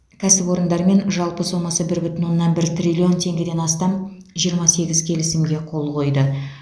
кәсіпорындармен жалпы сомасы бір бүтін оннан бір триллион теңгеден астам жиырма сегіз келісімге қол қойды